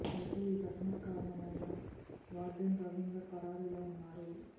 అయితే ఈ ఘటనకు కారణం అయిన వార్డెన్ రవీందర్ పరారీలో ఉన్నారు